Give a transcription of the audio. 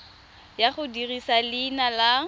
ya go dirisa leina la